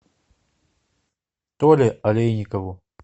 толе олейникову